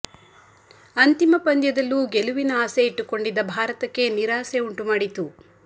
ಅಂತಿಮ ಪಂದ್ಯದಲ್ಲೂ ಗೆಲುವಿನ ಆಸೆ ಇಟ್ಟುಕೊಂಡಿದ್ದ ಭಾರತಕ್ಕೆ ನಿರಾಸೆ ಉಂಟು ಮಾಡಿತು